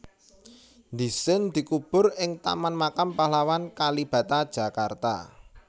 Dhisin dikubur ing Taman Makam Pahlawan Kalibata Jakarta